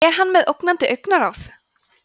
er hann með ógnandi augnaráð